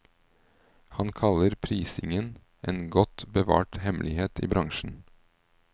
Han kaller prisingen en godt bevart hemmelighet i bransjen.